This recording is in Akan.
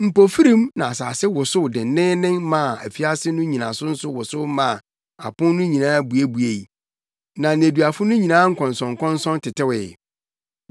Mpofirim na asase wosow denneennen maa afiase no nnyinaso nso wosow maa apon no nyinaa buebuei, na nneduafo no nyinaa nkɔnsɔnkɔnsɔn tetewee.